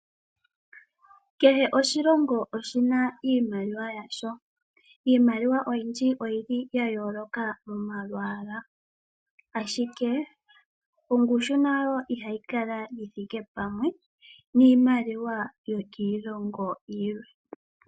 Kehe oshilongo oshi na iimaliwa yasho. Iimaliwa oyindji oyi li ya yooloka momalwaala, ashike ongushu nayo ihayi kala yi thike pamwe niimaliwa yokiilongo yilwe.